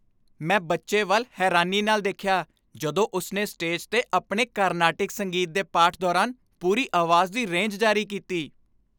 ਮੈਂ ਬੱਚੇ ਵੱਲ ਹੈਰਾਨੀ ਨਾਲ ਦੇਖਿਆ ਜਦੋਂ ਉਸਨੇ ਸਟੇਜ 'ਤੇ ਆਪਣੇ ਕਾਰਨਾਟਿਕ ਸੰਗੀਤ ਦੇ ਪਾਠ ਦੌਰਾਨ ਪੂਰੀ ਆਵਾਜ਼ ਦੀ ਰੇਂਜ ਜਾਰੀ ਕੀਤੀ।